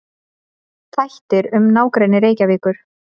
Þættir um nágrenni Reykjavíkur.